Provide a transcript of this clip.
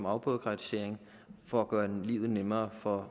afbureaukratisering for at gøre livet nemmere for